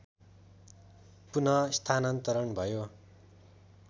पूनःस्थानान्तरण भयो